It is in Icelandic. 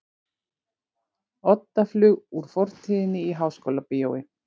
Oddaflug úr fortíðinni í Háskólabíói